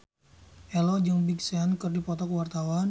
Ello jeung Big Sean keur dipoto ku wartawan